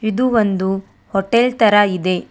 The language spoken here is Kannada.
ಇದು ಒಂದು ಹೊಟೆಲ್ ತರ ಇದೆ.